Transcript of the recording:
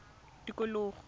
tikologo